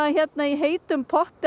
í heitum potti